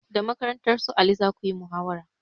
Da makarantar su ali zakuyi muhawara